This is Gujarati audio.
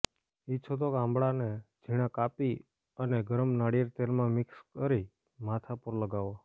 ઈચ્છો તો આંબળાને ઝીણા કાપી અને ગરમ નારિયેળ તેલમાં મિક્સ કરી માથા પર લગાવો